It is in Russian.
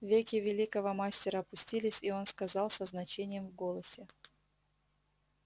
веки великого мастера опустились и он сказал со значением в голосе